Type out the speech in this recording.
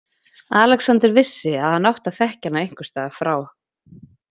Alexander vissi að hann átti að þekkja hana einhvers staðar frá.